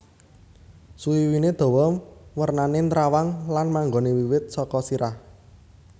Suwiwiné dawa wernané nrawang lan manggoné wiwit saka sirah